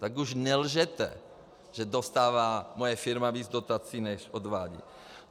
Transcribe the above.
Tak už nelžete, že dostává moje firma víc dotací, než odvádí.